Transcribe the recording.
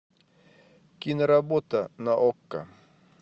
киноработа на окко